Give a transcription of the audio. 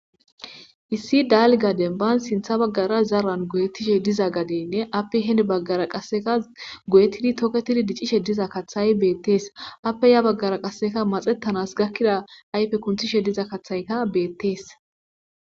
issi daalgadenban sintha baggara zaran goyetishe diza gadenne appe heni baggara qasseka goyetidi toketidi dicishe diza kaththay beettees appe ya baggara qasseka maxettanas gakkida ayfe kunthishe diza kathayka beettees